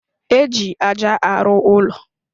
Éjị aja arụ ụlọ.